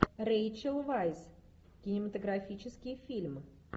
рэйчел вайс кинематографический фильм